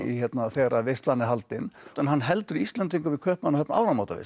þegar veislan er haldin en hann heldur Íslendingum í Kaupmannahöfn